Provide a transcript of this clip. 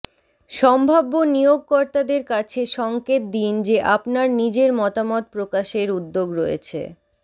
সম্ভাব্য নিয়োগকর্তাদের কাছে সংকেত দিন যে আপনার নিজের মতামত প্রকাশের উদ্যোগ রয়েছে